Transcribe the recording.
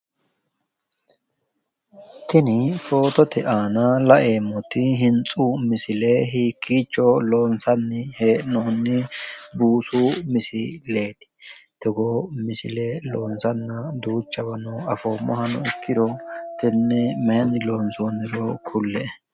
Tini fotote aana laeemmoti hintsu misile hiikkicho loonsanni hee'noonni buusu misileeti? Togoo misile duuchawa afoommohano ikkiro, tenne mayinni loonsonniro kulle"e.